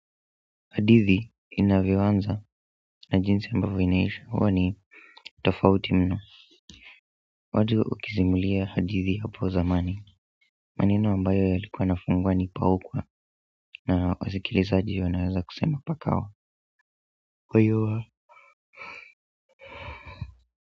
Hadithi inavyoanza na jinsi ambavyo inaisha huwa ni tofauti mno watu ukisimulia hadithi hapo zamani maneno ambayo yalikuwa yanafungua ni paukwa na wasikilizaji wanaweza kusema pakawa Uyua.